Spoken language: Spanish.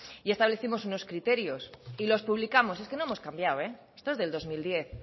y establecimos unos criterios y los publicamos es que no hemos cambiado esto es del dos mil diez